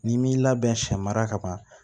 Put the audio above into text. N'i m'i labɛn sɛ mara ka ban